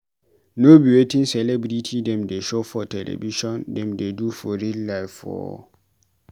No be wetin celebity dem dey show for television dem dey do for real life o.